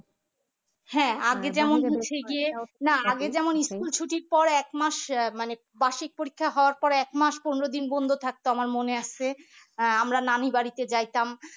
না আগে যেমন school ছুটির পর এক মাস আহ মানে বার্ষিক পরীক্ষা হওয়ার পরে এক মাস পনেরো দিন বন্ধ থাকতো আমার মনে আছে আহ আমরা নানি বাড়িতে যাইতাম